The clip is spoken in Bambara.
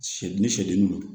Sɛ den ni sɛdenw